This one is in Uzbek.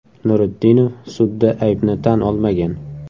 Nuritdinov sudda aybni tan olmagan.